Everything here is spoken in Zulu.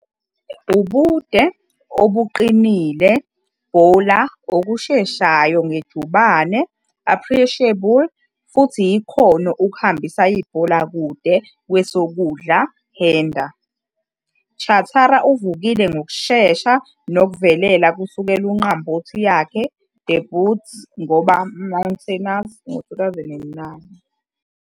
A ubude, obuqinile Bowler okusheshayo nge ijubane appreciable futhi ikhono ukuhambisa ibhola kude kwesokudla hander, Chatara uvukile ngokushesha nokuvelela kusukela unqambothi yakhe DEBUT ngoba Mountaineers ngo-2009.